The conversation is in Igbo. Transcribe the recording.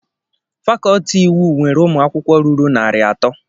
Fakọlti iwu nwere ụmụ akwụkwọ ruru narị atọ.